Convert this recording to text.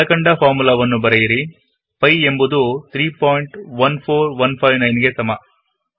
ಕೆಲ ಕಂಡ ಫಾರ್ಮುಲಾವನ್ನು ಬರೆಯಿರಿಪೈ ಎಂಬುದು 314159 ಗೆ ಸಮ